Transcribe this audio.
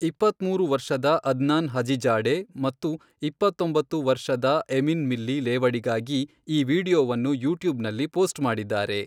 ಇಪ್ಪತ್ಮೂರು ವರ್ಷದ Adnan Hajizada ಮತ್ತು ಇಪ್ಪಂತ್ತೊಂಬತ್ತು ವರ್ಷದ ಎಮಿನ್ ಮಿಲ್ಲಿ ಲೇವಡಿಗಾಗಿ ಈ ವಿಡಿಯೋವನ್ನು ಯೂಟ್ಯೂಬ್ನಲ್ಲಿ ಪೋಸ್ಟ್ ಮಾಡಿದ್ದಾರೆ.